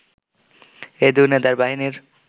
এই দুই নেতার বাহিনীর